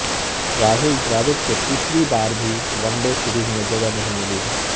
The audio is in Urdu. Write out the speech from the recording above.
راہول ڈراوڈ کو تیسری بار بھی ونڈے سیریز میں جگہ نہیں ملی ہے